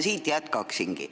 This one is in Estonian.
Ma siit jätkangi.